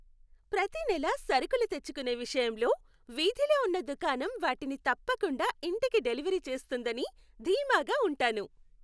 ప్రతి నెలా సరుకులు తెచ్చుకునే విషయంలో, వీధిలో ఉన్న దుకాణం వాటిని తప్పకుండా ఇంటికి డెలివరీ చేస్తుందని ధీమాగా ఉంటాను.